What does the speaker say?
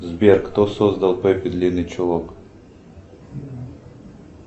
сбер кто создал пеппи длинный чулок